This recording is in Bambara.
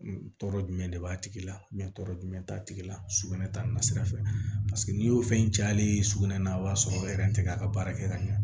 Tɔɔrɔ jumɛn de b'a tigi la tɔɔrɔ jumɛn t'a tigi la sugunɛ taa na sira fɛ n'i y'o fɛn caya ale ye sugunɛ na o b'a sɔrɔ tɛ a ka baara kɛ ka ɲa